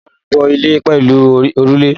A maa n bo ile pelu orule